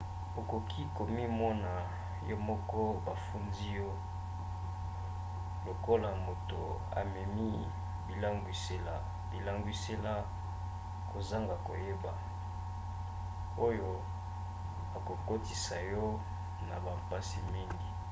okoki komimona yo moko bafundi yo lokola moto amemi bilangwisela kozanga koyeba oyo ekokotisa yo na bampasi mingi